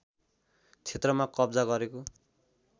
क्षेत्रमा कब्जा गरेको